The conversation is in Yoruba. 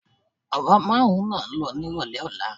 Àwa márùn-ún là ń lọ nírọ̀lẹ́ ọ̀la